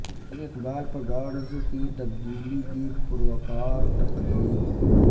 مزار اقبال پر گارڈز کی تبدیلی کی پروقار تقریب